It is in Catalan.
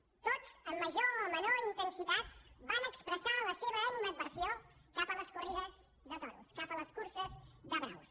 tots amb major o menor intensitat van expressar la seva animadversió cap a les corrides de toros cap a les curses de braus